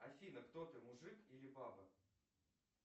афина кто ты мужик или баба